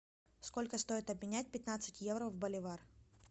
сколько стоит обменять пятнадцать евро в боливар